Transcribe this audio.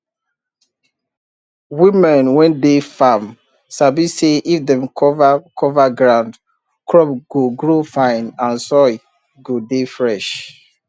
women wey dey farm sabi say if dem cover cover ground crops go grow fine and soil go dey fresh